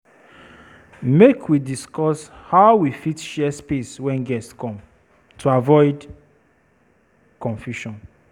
Make we discuss how we fit share space wen guests come, to avoid confusion.